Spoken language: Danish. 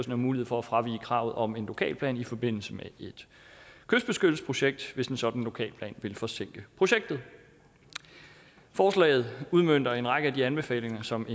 have mulighed for at fravige kravet om en lokalplan i forbindelse med et kystbeskyttelsesprojekt hvis en sådan lokalplan vil forsinke projektet forslaget udmønter en række af de anbefalinger som